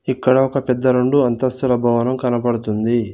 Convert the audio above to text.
ఇక్కడ ఒక పెద్ద రెండు అంతస్తుల భవనం కనపడుతుంది.